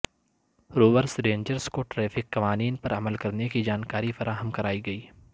روورس rangers کو traffic قوانین پر عمل کرنے کی جانکاری فراہم کرائی گئی